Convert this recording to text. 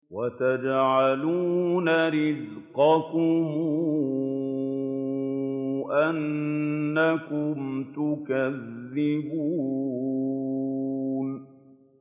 وَتَجْعَلُونَ رِزْقَكُمْ أَنَّكُمْ تُكَذِّبُونَ